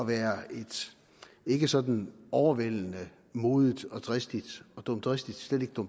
være et ikke sådan overvældende modigt og dristigt dristigt og